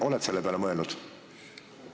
Oled sa selle peale mõelnud?